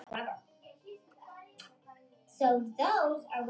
Victor Hugo